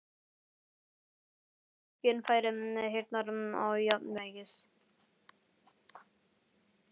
Í eyra eru skynfæri heyrnar og jafnvægis.